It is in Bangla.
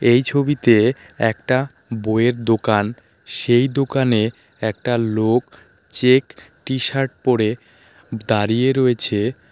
এই ছবিতে একটা বইয়ের দোকান সেই দোকানে একটা লোক চেক টি শার্ট পড়ে দাঁড়িয়ে রয়েছে.